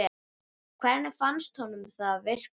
Hvernig fannst honum það virka?